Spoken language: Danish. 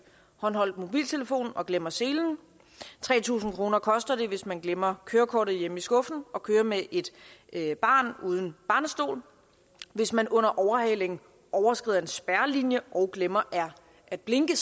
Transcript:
håndholdt mobiltelefon og glemmer selen tre tusind kroner koster det hvis man glemmer kørekortet hjemme i skuffen og kører med et barn uden barnestol hvis man under overhaling overskrider en spærrelinje og glemmer at blinke